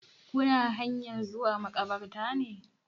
Kuna hanyan zuwa makabartar ne?